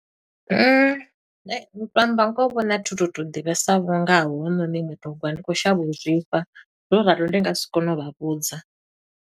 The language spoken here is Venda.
U to amba ngoho vho nṋe a thu to to ḓivhesa vho ngaho hounoni mutogwa ndi khou shavha u zwifha. Zwo ralo ndi nga si kone u vha vhudza.